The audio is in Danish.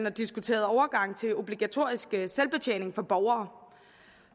og diskuterede overgang til obligatorisk selvbetjening for borgere